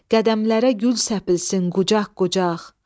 Qədəmlərə gül səpilsin qucaq-qucaq.